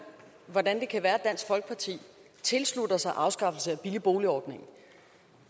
hvordan det kan være at dansk folkeparti tilslutter sig afskaffelse af billig bolig ordningen